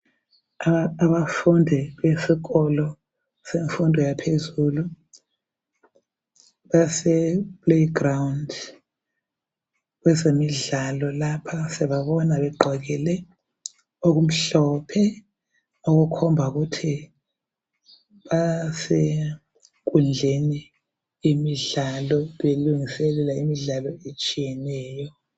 Abafundi besikolo semfundo yaphezulu base playground, kwezemidlalo lapha siyababona begqokile okumhlophe, okukhomba ukuthi basenkundleni yemidlalo belungiselela imidlalo etshiyeneyo.